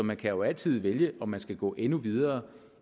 man kan altid vælge om man skal gå endnu videre